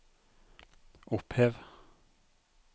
opphev